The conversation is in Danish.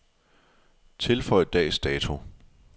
Tilføj dags dato.